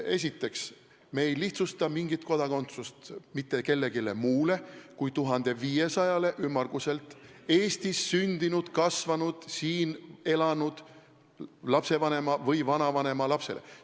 Esiteks, me ei lihtsusta kodakondsuse andmist mitte kellelegi muule kui ümmarguselt 1500-le Eestis sündinud ja kasvanud lapsele, kelle vanem või vanavanem seisuga 20. august 1991 elas Eestis.